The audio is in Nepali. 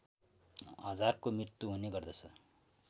हजारको मृत्यु हुने गर्दछ